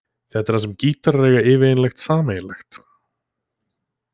Þetta er það sem gítarar eiga yfirleitt sameiginlegt.